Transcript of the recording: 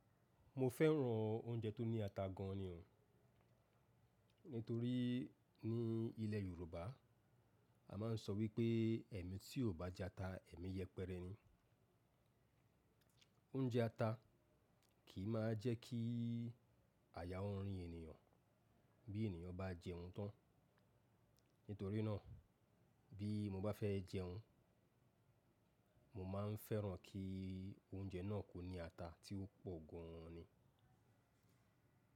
Mo fẹ́ràn oúnjẹ tó ní ata gan ni. Nítorí ní ilẹ̀ Yorùbá a máa ń sọ wípé "ẹmi tí ò bá jẹ ata, ẹmi yẹpẹrẹ ni." Oúnjẹ ata kì í má jẹ́ kí àyà ó rín ènìyàn bí ènìyàn bá jẹun tán. Nítorí náà bí mo bá fẹ́ jẹun, mo máa ń fẹ́ràn kí oúnjẹ náà kó ní ata tí ó pọ̀ gan ni.